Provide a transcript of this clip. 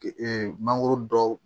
mangoro dɔw